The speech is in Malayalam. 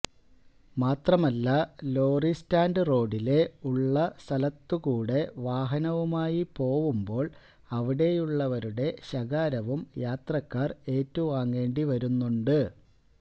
മാത്രമല്ല ലോറിസ്റ്റാൻഡ് റോഡിലെ ഉള്ളസ്ഥലത്തുകൂടെ വാഹനവുമായി പോവുമ്പോൾ അവിടെയുള്ളവരുടെ ശകാരവും യാത്രക്കാർ ഏറ്റുവാങ്ങേണ്ടിവരുന്നുണ്ട്